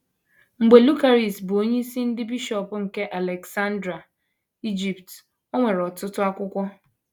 Mgbe Lucaris bụ onyeisi ndị bishọp nke Aleksandria, Ijipt, o nwere ọtụtụ akwụkwọ.